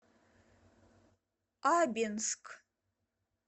абинск